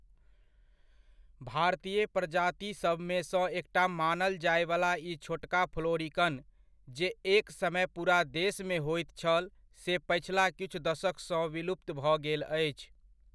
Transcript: भारतीय प्रजातिसभमेसँ एकटा मानल जायवला ई छोटका फ्लोरिकन, जे एक समय पूरा देशमे होइत छल, से पछिला किछु दशकसँ विलुप्त भऽ गेल अछि।